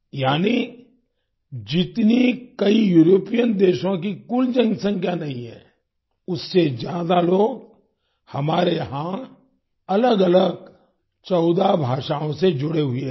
यानी जितनी कई यूरोपियन देशों की कुल जनसंख्या नहीं है उससे ज्यादा लोग हमारे यहाँ अलगअलग 14 भाषाओं से जुड़े हुए हैं